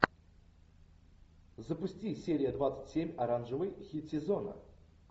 запусти серия двадцать семь оранжевый хит сезона